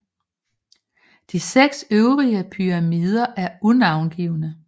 De seks øvrige pyramider er unavngivne